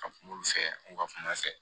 Ka kuma olu fɛ u ka kuma fɛ